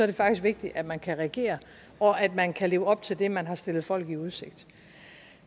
det faktisk vigtigt at man kan regere og at man kan leve op til det man har stillet folk i udsigt